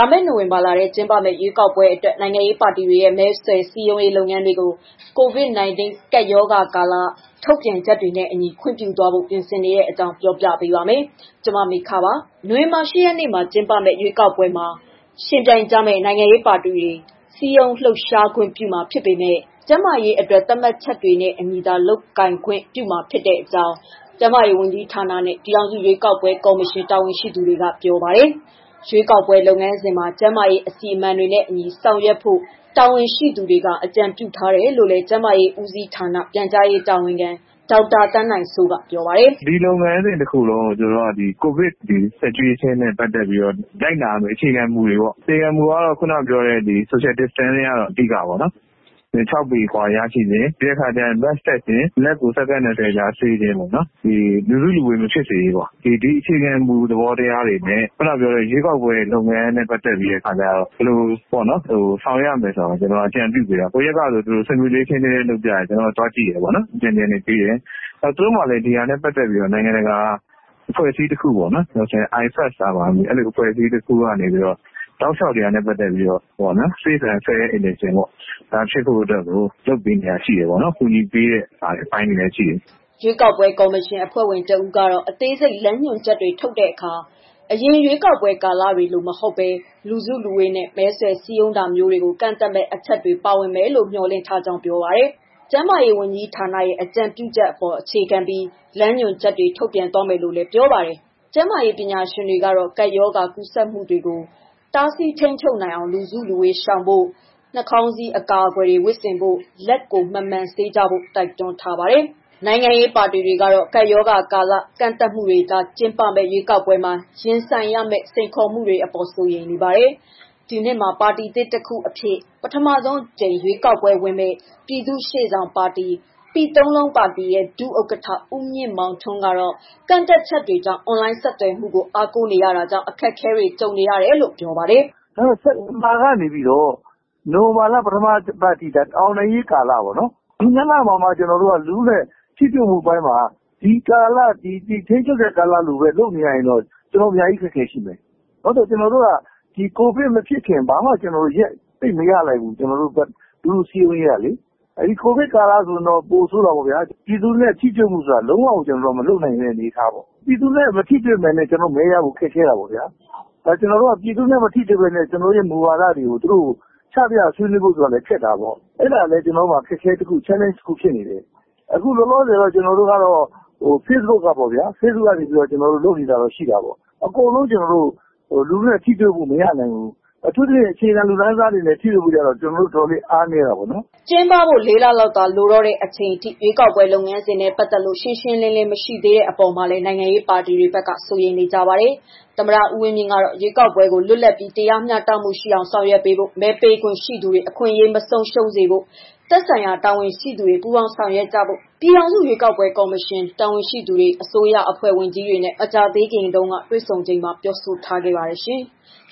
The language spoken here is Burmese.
ာမယ့် နိုဝင်ဘာလထဲ ကျင်းပမယ့် ရွေးကောက်ပွဲအတွက် နိုင်ငံရေးပါတီတွေရဲ့ မဲဆွယ်စည်းရုံးရေး လုပ်ငန်းတွေကို COVID-19 ကပ်ရောဂါကာလ ထုတ်ပြန်ချက်တွေနဲ့အညီ ခွင့်ပြုဖို့ ပြင်ဆင်နေတဲ့အကြောင်းကို ဗွီအိုအေမြန်မာပိုင်းသတင်းထောက် မမေခက ပြောပြပါမယ်။ နိုဝင်ဘာ ၈ ရက်နေ့မှာ ကျင်းပမယ့် ရွေးကောက်ပွဲမှာ ယှဉ်ပြိုင်ကြမယ့် နိုင်ငံရေး ပါတီတွေ စည်းရုံးလှုပ်ရှားခွင့်ပြုမှာ ဖြစ်ပေမဲ့ ကျန်းမာရေးအတွက် သတ်မှတ်ချက်တွေနဲ့အညီသာ လုပ်ခွင့်ရှိမှာ ဖြစ်ကြောင်း ကျန်းမာရေးဝန်ကြီးဌာနနဲ့ ပြည်ထောင်စု ရွေးကောက်ပွဲ ကော်မရှင် တာဝန်ရှိသူတွေက ပြောပါတယ်။ ရွေးကောက်ပွဲ လုပ်ငန်းစဉ်မှာ ကျန်းမာရေးအစီအမံတွေနဲ့အညီ ဆောင်ရွက်ဖို့ တာဝန်ရှိသူတွေက အကြံပြုထားတယ်လို့လည်း ကျန်းမာရေးဦးစီးဌာန ပြန်ကြားရေးတာဝန်ခံ ဒေါက်တာ သန်းနိုင်စိုးကပြောပါတယ်။ "ဒီလုပ်ငန်းစဉ် တခုလုံးကို ကိုဗစ်ကပ်ရောဂါနဲ့ ပတ်သတ်ပြီးတော့ လိုက်နာရမယ့်အခြေခံမူတွေပေါ့နော်။ အခြေခံမူတွေကတော့ ခုနကပြောတဲ့ social distancing ပိုင်းပဲပေါ့။ ၆ ပေအကွာအဝေးနေတာ၊ mask တပ်တာ၊ လက်ကိုဆပ်ပြာနဲ့ ဆေးခြင်း၊ လူစုလူဝေးမဖြစ်စေခြင်းတို့ ဖြစ်တယ်။ ဒီအခြေခံသဘောတရားတွေနဲ့ ရွေးကောက်ပွဲလုပ်ငန်းတွေနဲ့ ဘယ်လိုဆောင်ရွက်ရမလဲဆိုတာကို အကြံပြုပေးတာ၊ သူတို့မှာလည်း ဒီဟာနဲ့ပတ်သတ်ပြီးတော့ နိုင်ငံတကာက အဖွဲ့ဘက်က အကြံပြုနေတဲ့ အဖွဲ့ရှိနေတယ်။ သူတို့ဘက်က ကူညီပေးနေတာရှိနေတယ်။" ရွေးကောက်ပွဲကော်မရှင် အဖွဲ့ဝင်တဦးကတော့ အသေးစိတ်လမ်းညွှန်ချက်တွေ ထုတ်ပြန်တဲ့အခါ အရင်ရွေးကောက်ပွဲ ကာလတွေလို မဟုတ်ဘဲ လူစုလူဝေးနဲ့ မဲဆွယ်စည်းရုံးတာမျိုးတွေကို ကန့်သတ်မယ့် အချက်တွေ ပါဝင်မယ်လို့ မျှော်လင့်ထားကြောင်း ပြောပါတယ်။ ကျန်းမာရေးဝန်ကြီးဌာနရဲ့ အကြံပြုချက်အပေါ် အခြေခံပြီး လမ်းညွှန်ချက်တွေကို ထုတ်ပြန်သွားမယ်လို့လည်း ပြောပါတယ်။ ကျန်းမာရေး ပညာရှင်တွေကတော့ ကပ်ရောဂါ ကူးစက်မှုတွေကို တားဆီးထိန်းချုပ်နိုင်အောင် လူစုလူဝေးရှောင်ဖို့၊ နှာခေါင်းစည်း အကာအကွယ်တွေ ဝတ်ဆင်ဖို့၊ လက်ကိုမှန်မှန်ဆေးကြောဖို့ တိုက်တွန်းထားတာပါ။ နိုင်ငံရေးပါတီတွေကတော့ ကပ်ရောဂါကာလ ကန့်သတ်မှုတွေကြား ကျင်းပမယ့် ရွေးကောက်ပွဲမှာ ရင်ဆိုင်ရမယ့် စိန်ခေါ်မှုတွေအပေါ် စိုးရိမ်နေပါတယ်။ ဒီနှစ်မှာ ပါတီသစ်တစ်ခုအဖြစ် ပထမဆုံးအကြိမ် ရွေးကောက်ပွဲဝင်မယ့် ပြည်သူ့ရှေ့ဆောင်ပါတီ ဒုဥက္ကဋ္ဌ ဦးမြင့်မောင်ထွန်းကတော့ ကန့်သတ်ချက်တွေကြောင့် အွန်လိုင်းဆက်သွယ်မှုတွေကို အားကိုးနေရတာကြောင့် အခက်အခဲတွေ ကြုံနေရတယ်လို့ ပြောပါတယ်။ "စက်တင်ဘာကနေပြီးတော့ နိုဝင်ဘာ ပထမအပတ်အထိက အောင်နိုင်ရေးကာလပါ။ ဒီ၂ လမှာမှ လူထုနဲ့ထိတွေ့မှုပိုင်းမှာ ဒီကာလထိန်းချုပ်ကာလလို လုပ်နေရရင်တော့ ကျနော်တို့ အများကြီးအခက်အခဲ ရှိတယ်။ ဒီကိုဗစ်မဖြစ်ခင် ကျနော်တို့ အချိန်ဘာမှမရဘူး။ ကျနော်တို့အတွက် လူထုစည်းရုံးရေးကလေ။ ကိုဗစ်ကာလဆိုတော့ ပိုဆိုးတာပေါ့။ ပြည်သူနဲ့ ထိတွေ့မှုက လုံးဝကို မရှိခဲ့တာ။ ပြည်သူနဲ့ မထိတွေ့ဘဲ မဲရဖို့မလွယ်ဘူး။ ကျနော်တို့ပါတီရဲ့မူဝါဒကို ချပြဖို့ မလုပ်နိုင်ဘူး။ အဲလိုတော့ရှိတယ်။ အခုလောလောဆယ်တော့ ဖေ့ဘုတ်ကနေ ဆက်သွယ်နေရတာပေါ့။ အကုန်လုံးထိတွေ့လို့ မရဘူး။ အထူးသဖြင့်အခြေခံ လူတန်းစားတွေနဲ့ ထိတွေ့မှု အားနည်းတာပေါ့။" ကျင်းပဖို့ ၄ လလောက်သာ လိုတော့တဲ့ အချိန်အထိ ရွေးကောက်ပွဲ လုပ်ငန်းစဉ်နဲ့ ပတ်သက်လို့ ရှင်းရှင်းလင်းလင်း မရှိနေသေးတဲ့ အပေါ်မှာလည်း နိုင်ငံရေးပါတီတွေက စိုးရိမ်နေကြတာပါ။ သမ္မတ ဦးဝင်းမြင့် ကတော့ ရွေးကောက်ပွဲကို လွတ်လပ်ပြီး၊ မျှတမှုရှိအောင် ဆောင်ရွက်ဖို့၊ မဲပေးခွင့်ရှိသူတွေ အခွင့်အရေး မဆုံးရှုံးစေဖို့ သက်ဆိုင်ရာ တာဝန်ရှိသူတွေ ပူးပေါင်းဆောင်ရွက်ကြဖို့ ပြည်ထောင်စု ရွေးကောက်ပွဲ ကော်မရှင်တာဝန်ရှိသူတွေ၊ အစိုးရအဖွဲ့ဝင် ဝန်ကြီးတွေနဲ့ မကြာသေးခင်တုန်းက တွေ့ဆုံချိန်မှာ ပြောဆိုထားပါတယ်ရှင်။